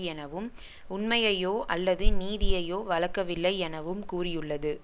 எனவும் உண்மையையோ அல்லது நீதியையோ வழக்கவில்லை எனவும் கூறியுள்ளது